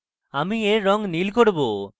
আমি we রঙ নীল করব